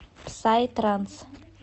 псай транс